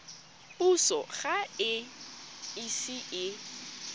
puso ga e ise e